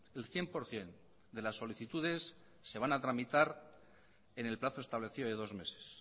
el cien por ciento de las solicitudes se van a tramitar en el plazo establecido de dos meses